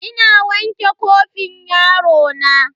Ina wanke kofin yarona.